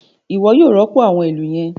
Iwọ yóò rọpo awọn ilú yẹn!